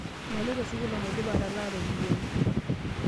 Maloito sukuul omaidipa atalaa ropiyiani.